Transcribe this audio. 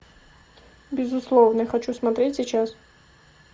безусловный хочу смотреть сейчас